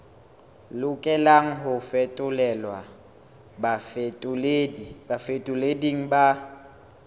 lokelang ho fetolelwa bafetoleding ba